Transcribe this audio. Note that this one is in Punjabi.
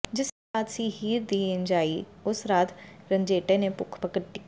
ਜਿਸ ਰਾਤ ਸੀ ਹੀਰ ਦੀ ਜੰਞ ਆਈ ਉਸ ਰਾਤ ਰੰਝੇਟੇ ਨੇ ਭੁੱਖ ਕੱਟੀ